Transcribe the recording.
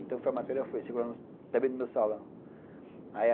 Então, foi a matéria que foi circulando também no meu salão.